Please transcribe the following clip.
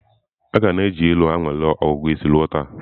A ka na-eji ilu anwale ọgụgụ isi ruo taa.